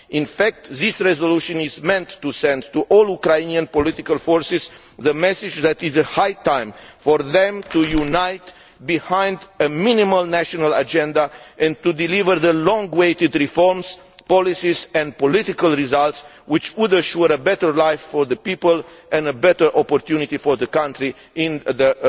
In fact, this resolution is meant to send to all Ukrainian political forces the message that it is high time for them to unite behind a minimum national agenda and to deliver the long awaited reforms, policies and political results which would assure a better life for the people and a better opportunity for the country, with the